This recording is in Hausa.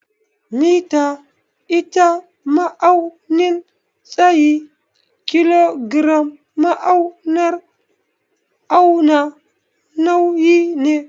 Mita ita ma'aunin tsayi, kilogram naúrar auna nauyi ne.